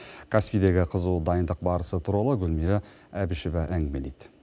каспидегі қызу дайындық барысы туралы гулмира әбішева әңгімелейді